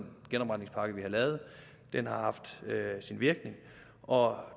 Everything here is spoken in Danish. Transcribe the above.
genopretningspakke vi har lavet den har haft sin virkning og